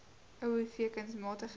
o v kunsmatige